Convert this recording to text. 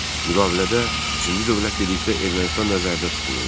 Müqavilədə üçüncü dövlət dedikdə Ermənistan nəzərdə tutulurdu.